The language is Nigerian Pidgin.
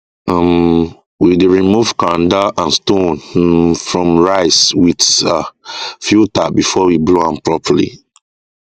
um we dey remove kanda and stone um from rice with um filter before we blow am properly